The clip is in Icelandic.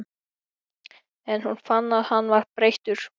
En hún fann að hann var breyttur.